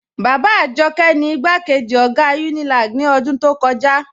Baba Ajọkẹ ni igbakeji ogá Unilag ni odún tó kọja.